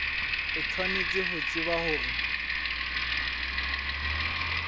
o tshwanetse ho tseba hore